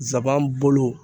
nsaban bolo